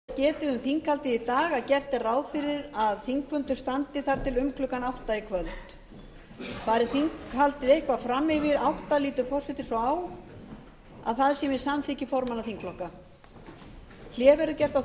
forseti vill láta þess getið um þinghaldið í dag að gert er ráð fyrir að þinghaldi standi þar til um klukkan átta í kvöld fari þinghaldið eitthvað fram yfir klukkan átta lítur forseti svo á að það sé með samþykki formanna þingflokka hlé verður gert á